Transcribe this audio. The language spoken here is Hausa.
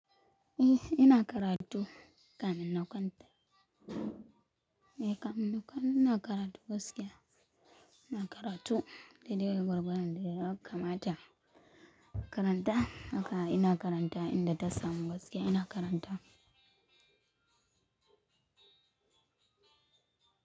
Eh ina karatu kamin nakwan ta. Eh kamar nau'kan ina karatu gaskiya. Ina karatu, dai dai gorgodon da naga yaka mata. Karanta haka ina karanta, inda tasamu gaskiya ina karanta.